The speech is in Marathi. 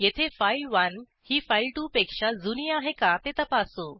येथे फाइल1 ही file2पेक्षा जुनी आहे का ते तपासू